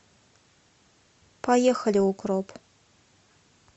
поехали укроп